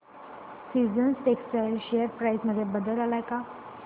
seasons Textile share price मध्ये बदल आलाय का